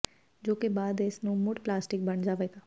ਜੋ ਕਿ ਬਾਅਦ ਇਸ ਨੂੰ ਮੁੜ ਪਲਾਸਟਿਕ ਬਣ ਜਾਵੇਗਾ